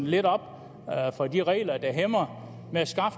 lidt op for de regler der hæmmer